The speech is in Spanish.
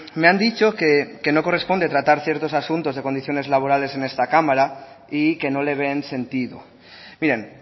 me han dicho que no corresponde tratar ciertos asuntos de condiciones laborales en esta cámara y que no le ven sentido miren